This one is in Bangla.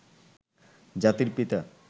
জাতির পিতা